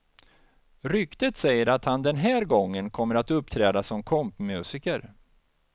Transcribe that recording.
Ryktet säger att han den här gången kommer att uppträda som kompmusiker.